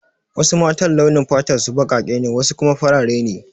Wasu matan launin fatar su baƙaƙe ne wasu kuma farare ne